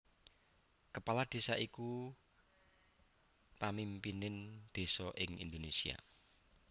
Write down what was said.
Kepala Desa iku pamimpining désa ing Indonésia